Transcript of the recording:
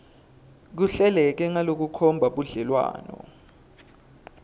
kuhleleke ngalokukhomba budlelwane